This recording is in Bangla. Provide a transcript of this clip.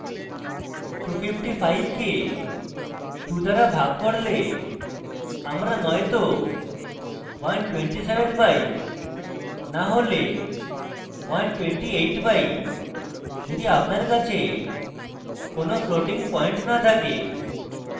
আমরা 255 কে 2 দ্বারা ভাগ করলে আমরা নয়তো 127 পাই no হলে 128 পাই যদি আপনার কাছে কোনো floating পয়েন্ট no থাকে